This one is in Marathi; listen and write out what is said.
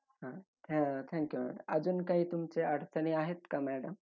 Uh thank you madam. अजून काही तुमच्या अडचणी आहेत का madam?